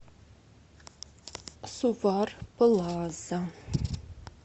сувар плаза